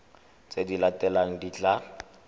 tse di latelang di tla